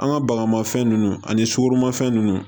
An ka bagamafɛn ninnu ani sukoromafɛn nunnu